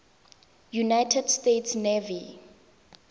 united states navy